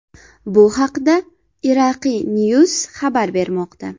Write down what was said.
Bu haqda IraqiNews xabar bermoqda .